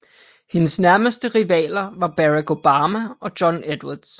Hendes nærmeste rivaler var Barack Obama og John Edwards